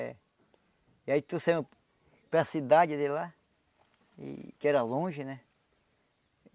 É. E aí tu saiu para cidade de lá, e que era longe, né?